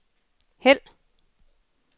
hæld